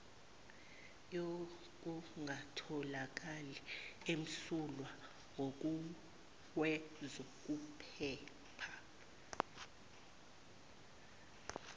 yokungatholakali emsulwa ngokwezokuphepha